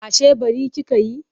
Ashe ɓari kika yi?